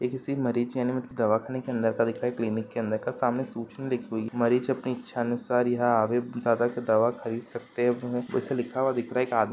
ये किसी मरीज यानि मतलब दवाखाने के अंदर का दिख रहा क्लिनिक के अंदर का सामने सूचना लिखी हुई है मरीज अपनी इच्छानुसार यहां आवे ज्यादा के दवा खरीद सकते है वैसे लिखा हुआ दिख रहा है कि आदमी --